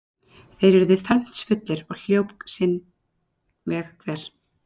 Þeir urðu felmtsfullir, og hljóp sinn veg hver.